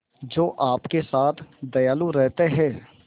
जो आपके साथ दयालु रहते हैं